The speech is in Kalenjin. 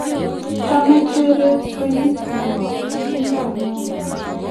Chame Jebet kweinik nebo titingdo neo